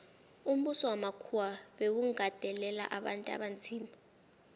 umbuso wamakhuwa bewugandelela abantu abanzima